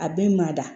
A bɛ mada